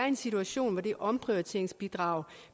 en situation hvor det omprioriteringsbidrag